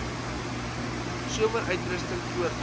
somer uitrusting voortgaan